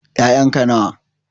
Ƴayan ka nawa?